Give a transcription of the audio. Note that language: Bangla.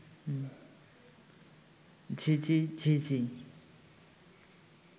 ঝিঁ ঝি ঝিঁ ঝি